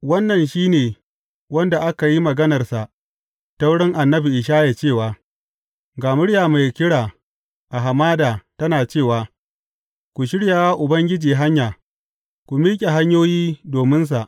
Wannan shi ne wanda aka yi maganarsa ta wurin annabi Ishaya cewa, Ga murya mai kira a hamada tana cewa, Ku shirya wa Ubangiji hanya, ku miƙe hanyoyi dominsa.’